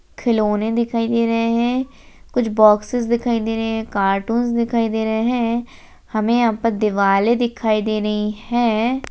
खिलौने दिखाई दे रहे हैं कुछ बॉक्स दिखाई दे रहे हैं कार्टूंस दिखाई दे रहे हैं हमें यहां पर दिवालें दिखाई दे रही हैं।